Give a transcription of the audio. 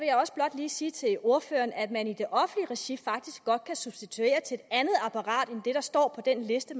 lige sige til ordføreren at man i det offentlige regi faktisk godt kan substituere til et andet apparat end det der står på den liste